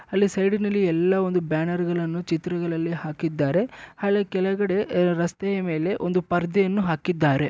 ಅಲ್ಲಿ ಸೈಡಲ್ಲಿ ಎಲ್ಲಒಂದು ಬ್ಯಾನರ್ಗಳಲಿ ಚಿತ್ರಗಳಲ್ಲಿ ಹಾಕಿದ್ದಾರೆ ಹಾಗೆ ಕೆಳಗಡೆ ರಸ್ತೆಯ ಮೇಲೆ ಒಂದು ಪರದೆಯನ್ನು ಹಾಕಿದ್ದಾರೆ.